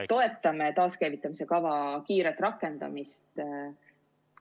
Toetame taaskäivitamise kava kiiret rakendamist!